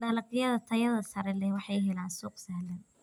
Dalagyada tayada sare leh waxay helaan suuq sahlan.